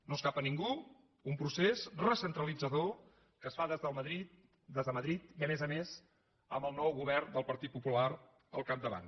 no escapa a ningú un procés recentralitzador que es fa des de madrid i a més a més amb el nou govern del partit popular al capdavant